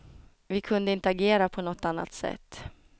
Vi kunde inte agera på något annat sätt.